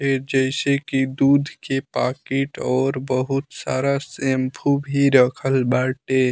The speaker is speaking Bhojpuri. ए जैसे की दूध के पाकिट और बहुत सारा सैम्पू भी रखल बाटे।